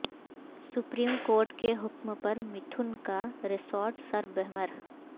supreme court کے حکم پر متھن کا ریسارٹ سربمہر